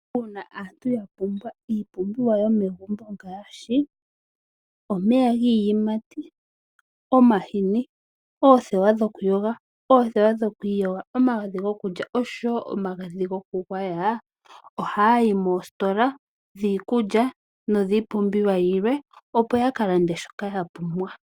Uuna aantu ya pumbwa iipumbiwa yomegumbo ngaashi: omeya giiyimati, omahini, oothewa dhokuyoga, oothewa dhoku iyoga, omagadhi gokulya noshowo omagadhi gokugwaya ohaya yi moositola dhiikulya nodhiipumbiwa yilwe, opo ya ka lande shoka ya pumbwa.